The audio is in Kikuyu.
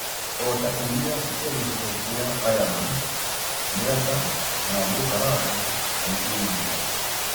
Ota iria cia gĩcigo kĩa Ireland, mĩanga na njũgũ karanga na ingĩ nyingĩ